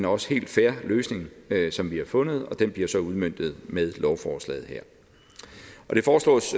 også helt fair løsning som vi har fundet og den bliver så udmøntet med lovforslaget her det foreslås